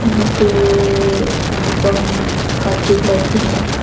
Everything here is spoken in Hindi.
यहां पे अनुपम का ट्यूबलाइट भी है।